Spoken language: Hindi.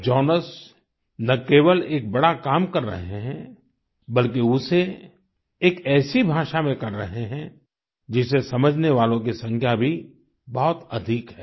जॉनस ना केवल एक बड़ा काम कर रहे हैं बल्कि उसे एक ऐसी भाषा में कर रहे हैं जिसे समझने वालों की संख्या भी बहुत अधिक है